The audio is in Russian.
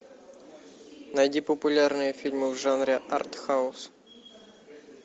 найди популярные фильмы в жанре артхаус